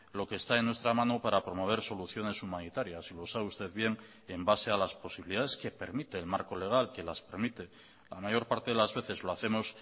lo que está en nuestra mano para promoversoluciones humanitarias y lo sabe usted bien en base a las posibilidades que permite el marco legal que las permite la mayor parte de las veces lo hacemos